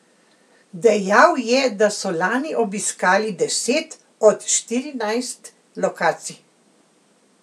Dejal je, da so lani obiskali deset od štirinajst lokacij.